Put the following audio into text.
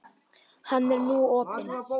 Hann er nú opinn.